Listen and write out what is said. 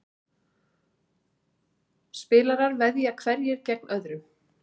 Spilarar veðja hverjir gegn öðrum.